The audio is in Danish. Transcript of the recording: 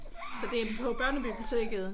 Så det er på børnebiblioteket?